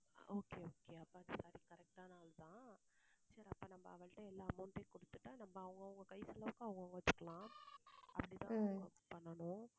okay okay அப்போ அவள் correct ஆன ஆள் தான். சரி அப்போ நம்ம எல்லா amount டயும் குடுத்துட்டா அப்புறம் அவங்கவங்க கை செலவுக்கு அவங்கவங்க வச்சுக்கலாம் அப்படிதான் பண்ணனும்.